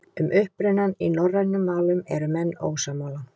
Um upprunann í norrænum málum eru menn ósammála.